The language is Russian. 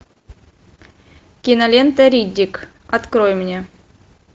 кинолента риддик открой мне